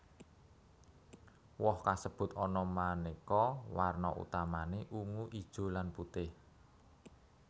Woh kasebut ana manéka warna utamané ungu ijo lan putih